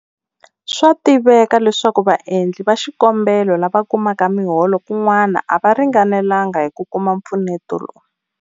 Swa tiveka leswaku vaendli va xikombelo lava kumaka miholo kun'wana a va ringanelanga hi ku kuma mpfuneto lowu.